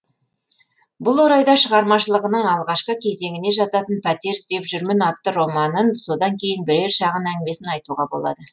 бұл орайда шығармашылығының алғашқы кезеңіне жататын пәтер іздеп жүрмін атты романын содан кейін бірер шағын әңгімесін айтуға болады